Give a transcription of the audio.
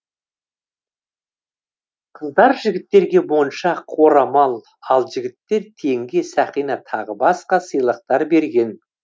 қыздар жігіттерге моншақ орамал ал жігіттер теңге сақина тағы басқа сыйлықтар берген